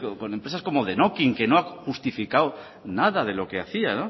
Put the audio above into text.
con empresas como denokinn que no ha justificado nada de lo que hacía